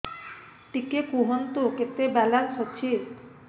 ଟିକେ କୁହନ୍ତୁ କେତେ ବାଲାନ୍ସ ଅଛି